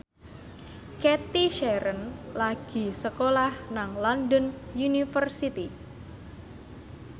Cathy Sharon lagi sekolah nang London University